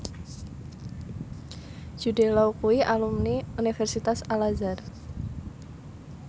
Jude Law kuwi alumni Universitas Al Azhar